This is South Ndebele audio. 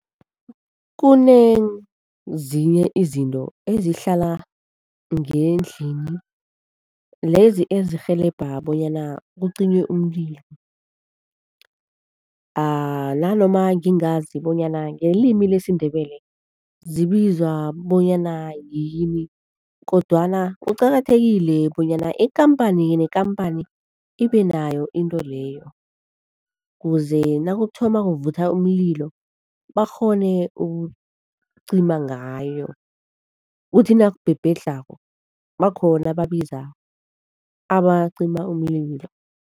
Kunezinye izinto ezihlala ngendlini, lezi ezirhelebha bonyana kucinywe umlilo nanoma ngingazi bonyana ngelimi lesiNdebele zibizwa bonyana yini kodwana kuqakathekile bonyana ikhamphani nekhamphani ibe nayo into leyo kuze nakuthoma kuvutha umlilo, bakghone ukucima ngayo, kuthi nakubhebhedlhako bakhona babiza abacima umlilo.